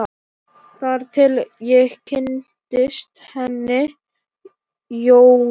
Þar til ég kynntist henni Jóru.